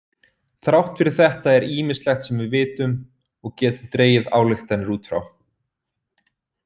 Þrátt fyrir þetta er ýmislegt sem vitum og getum dregið ályktanir út frá.